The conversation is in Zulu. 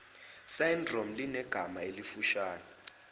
syndrome linegama elifushane